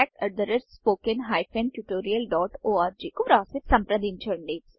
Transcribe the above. org కాంట్యాక్ట్స్పోకన్ ట్యూటోరియల్కువ్రాసిసంప్రదించండి